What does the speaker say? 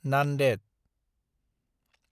Nanded